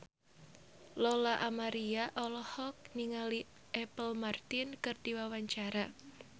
Lola Amaria olohok ningali Apple Martin keur diwawancara